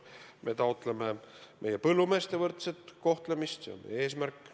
Eesti taotleb meie põllumeeste võrdset kohtlemist, see on meie eesmärk.